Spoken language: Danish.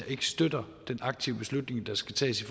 ikke støtter den aktive beslutning der skal tages